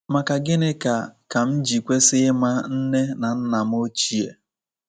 Maka Gịnị Ka Ka M Ji Kwesị Ịma Nne na Nna M Ochie?